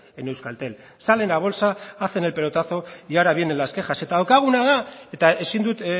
en euskaltel salen a bolsa hacen el pelotazo y ahora vienen las quejas eta daukaguna da eta ezin dut